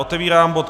Otevírám bod